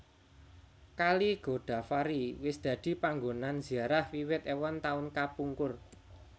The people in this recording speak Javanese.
Kali Godavari wis dadi panggonan ziarah wiwit èwon taun kapungkur